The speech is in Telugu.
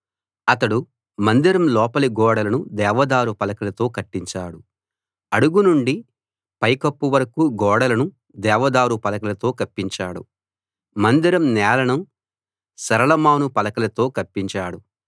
అతడు మందిరం లోపలి గోడలను దేవదారు పలకలతో కట్టించాడు అడుగు నుండి పైకప్పు వరకూ గోడలను దేవదారు పలకలతో కప్పించాడు మందిరం నేలను సరళ మాను పలకలతో కప్పించాడు